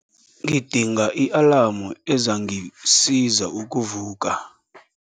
Ngidinga i-alamu ezangisiza ukuvuka.